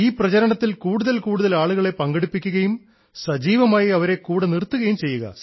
ഈ പ്രചരണത്തിൽ കൂടുതൽ കൂടുതൽ ആളുകളെ പങ്കെടുപ്പിക്കുകയും സജീവമായി അവരെ കൂടെ നിർത്തുകയും ചെയ്യുക